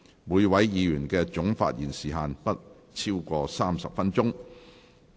每位議員的總發言時限不得超過30分鐘。